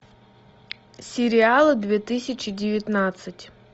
сериалы две тысячи девятнадцать